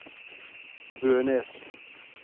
Bønes